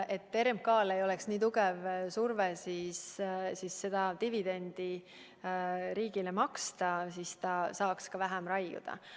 RMK-l ei tohiks olla nii tugev surve maksta riigile suurt dividendi, siis ta saaks vähem raiuda.